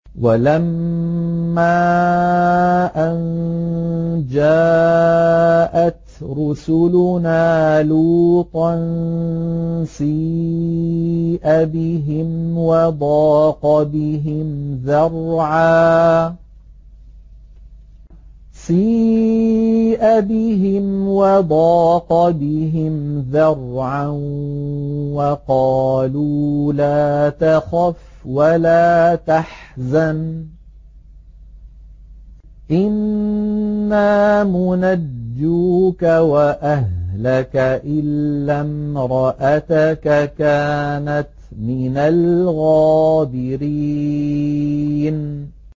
وَلَمَّا أَن جَاءَتْ رُسُلُنَا لُوطًا سِيءَ بِهِمْ وَضَاقَ بِهِمْ ذَرْعًا وَقَالُوا لَا تَخَفْ وَلَا تَحْزَنْ ۖ إِنَّا مُنَجُّوكَ وَأَهْلَكَ إِلَّا امْرَأَتَكَ كَانَتْ مِنَ الْغَابِرِينَ